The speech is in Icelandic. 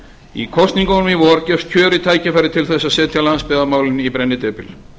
í kosningunum í vor gefst kjörið tækifæri til að setja landsbyggðarmálin í brennidepil